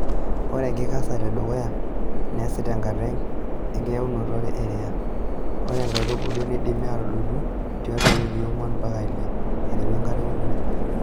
Ore enkikesare edukuya neesi tenkata enkitayunoto eriya .Ore ikaitubulu neidimi atadotu tiatua wikii ong'uan ompaka ile aiteru enkata eunore.